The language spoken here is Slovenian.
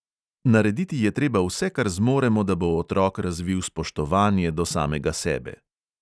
Narediti je treba vse, kar zmoremo, da bo otrok razvil spoštovanje do samega sebe.